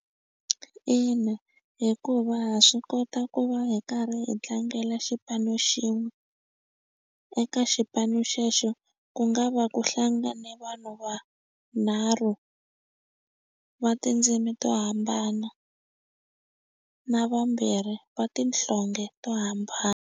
Ina, hikuva ha swi kota ku va hi karhi hi tlangela xipano xin'we eka xipano xexo ku nga va ku hlangane vanhu va nharhu va tindzimi to hambana na vambirhi va tinhlonge to .